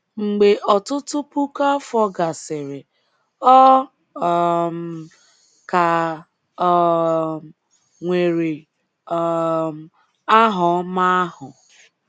Mgbe ọtụtụ puku afọ gasịrị, ọ um ka um nwere um aha ọma ahụ.